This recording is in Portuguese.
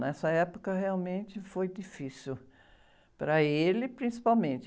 Nessa época, realmente, foi difícil para ele, principalmente.